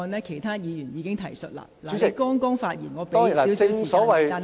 其他議員已經提述過相關個案，請你盡量簡短。